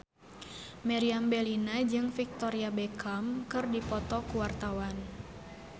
Meriam Bellina jeung Victoria Beckham keur dipoto ku wartawan